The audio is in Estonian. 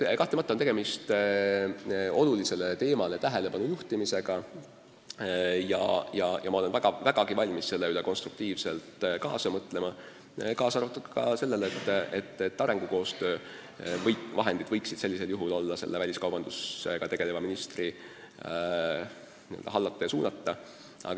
Kahtlemata on tegemist olulisele teemale tähelepanu juhtimisega ja ma olen vägagi valmis selle üle konstruktiivselt kaasa mõtlema, kaasa arvatud selle üle, et arengukoostöö vahendid võiksid olla väliskaubandusega tegeleva ministri hallata ja suunata.